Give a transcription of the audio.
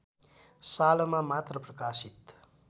सालमा मात्र प्रकाशित